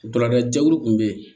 Balakɛlu tun bɛ yen